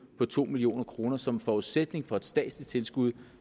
på to million kroner som forudsætning for et statsligt tilskud